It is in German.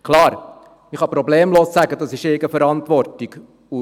Klar, ich kann problemlos sagen, dass dies zur Eigenverantwortung gehöre.